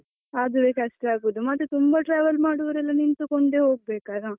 ಅದುವೇ ಕಷ್ಟ ಆಗುದು ಮತ್ತೆ ತುಂಬ travel ಮಾಡುವವರೆಲ್ಲ ನಿಂತುಕೊಂಡೆ ಹೋಗ್ಬೇಕಲ್ಲಾ.